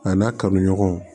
A n'a ka kanu ɲɔgɔn